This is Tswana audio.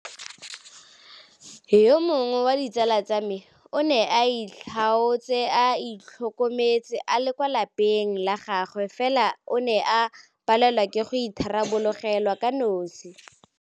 Yo mongwe wa ditsala tsa me o ne a itlhaotse a itlhokometse a le kwa lapeng la gagwe fela o ne a palelwa ke go itharabologelwa kanosi.